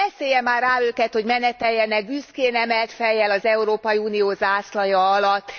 Beszélje már rá őket, hogy meneteljenek büszkén emelt fejjel az Európai Unió zászlaja alatt!